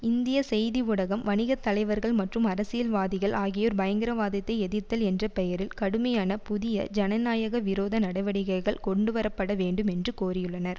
இந்திய செய்தி ஊடகம் வணிக தலைவர்கள் மற்றும் அரசியல் வாதிகள் ஆகியோர் பயங்கரவாதத்தை எதிர்த்தல் என்ற பெயரில் கடுமையான புதிய ஜனநாயக விரோத நடவடிக்கைகள் கொண்டுவரப்பட வேண்டும் என்று கோரியுள்ளனர்